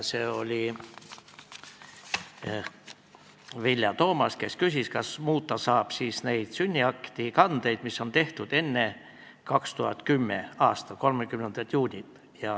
Vilja Toomast küsis, kas muuta saab neid sünniakti kandeid, mis on tehtud enne 2010. aasta 30. juunit.